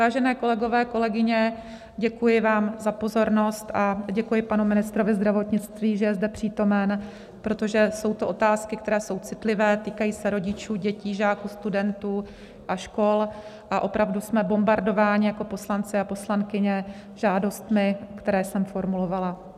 Vážení kolegové, kolegyně, děkuji vám za pozornost a děkuji panu ministru zdravotnictví, že je zde přítomen, protože jsou to otázky, které jsou citlivé, týkají se rodičů, dětí, žáků, studentů a škol, a opravdu jsme bombardováni jako poslanci a poslankyně žádostmi, které jsem formulovala.